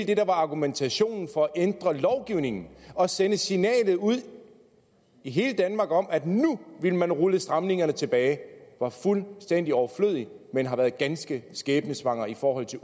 det der var argumentationen for at ændre lovgivningen og sende et signal ud til hele danmark om at nu ville man rulle stramningerne tilbage var fuldstændig overflødigt men har været ganske skæbnesvangert i forhold til